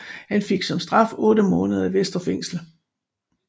Han fik som straf otte måneder i Vestre Fængsel